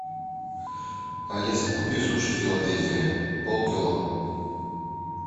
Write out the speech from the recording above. алиса купи суши филадельфия полкило